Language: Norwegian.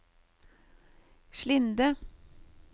Slinde